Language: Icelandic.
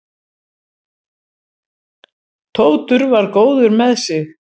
Tóti var góður með sig.